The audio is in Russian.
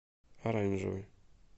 оранжевый